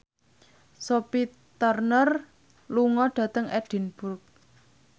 Sophie Turner lunga dhateng Edinburgh